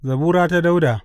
Zabura ta Dawuda.